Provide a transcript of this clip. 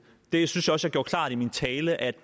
jeg synes også at jeg gjorde klart i min tale at